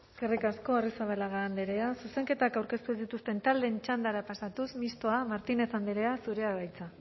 eskerrik asko arrizabalaga andrea zuzenketak aurkeztu ez dituzten taldeen txandara pasatuz mistoa martínez andrea zurea da hitza